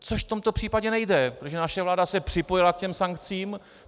Což v tomto případě nejde, protože naše vláda se připojila k těm sankcím.